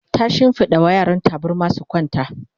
ta shimfiɗa wa yaran tabarma su kwanta